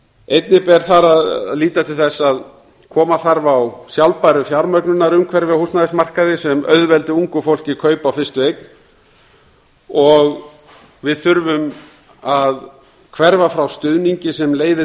einnig ber þar að líta til þess að koma þarf á sjálfbæru fjármögnunarumhverfi á húsnæðismarkaði sem auðveldi ungu fólki kaup á fyrstu eign og við þurfum að hverfa frá stuðningi sem leiði